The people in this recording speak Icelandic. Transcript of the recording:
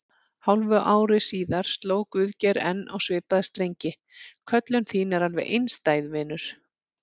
Hálfu ári síðar sló Guðgeir enn á svipaða strengi: Köllun þín er alveg einstæð, vinur.